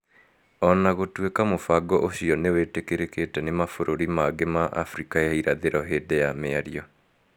o na gũtuĩka mũbango ũcio nĩ wĩtĩkĩrĩkĩte nĩ mabũrũri mangĩ ma Afrika ya Irathĩro hĩndĩ ya mĩario.